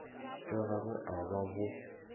tša gago a ba bo